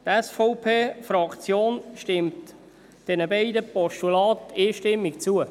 Die SVPFraktion stimmt den beiden Postulaten einstimmig zu.